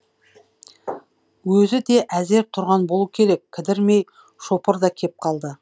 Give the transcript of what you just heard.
өзі де әзер тұрған болу керек кідірмей шопыр да кеп қалды